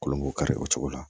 Kolon k'u kari o cogo la